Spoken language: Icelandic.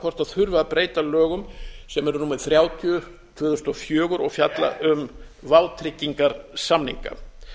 hvort það þurfi að breyta lögum sem eru númer þrjátíu tvö þúsund og fjögur og fjalla um vátryggingarsamninga